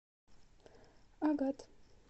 агат